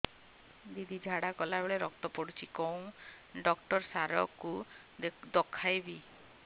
ଦିଦି ଝାଡ଼ା କଲା ବେଳେ ରକ୍ତ ପଡୁଛି କଉଁ ଡକ୍ଟର ସାର କୁ ଦଖାଇବି